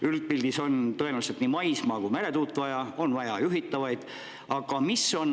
Üldpildis on tõenäoliselt vaja nii maismaa- kui ka meretuule, samuti juhitavaid.